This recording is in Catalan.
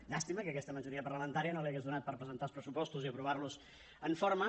llàstima que aquesta majoria parlamentària no li hagués donat per presentar els pressupostos i aprovar los en forma